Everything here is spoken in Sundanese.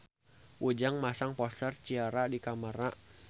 Ujang masang poster Ciara di kamarna